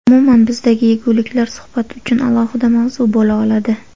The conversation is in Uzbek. Umuman bizdagi yeguliklar suhbat uchun alohida mavzu bo‘la oladi.